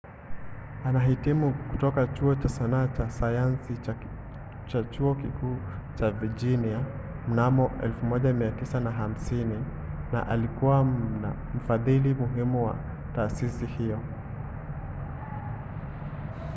alihitimu kutoka chuo cha sanaa na sayansi cha chuo kikuu cha virginia mnamo 1950 na alikuwa mfadhili muhimu wa taasisi hiyo